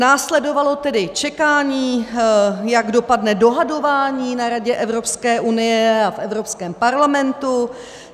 Následovalo tedy čekání, jak dopadne dohadování na Radě Evropské unie a v Evropském parlamentu.